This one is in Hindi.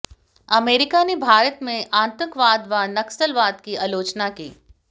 अमेरिका ने भारत में आतंकवाद व नक्सलवाद की आलोचना की